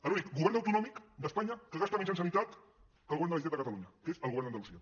l’únic govern autonòmic d’espanya que gasta menys en sanitat que el govern de la generalitat de catalunya que és el govern d’andalusia